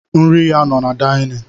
Nri ya no na daịnịn.